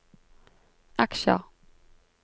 aksjer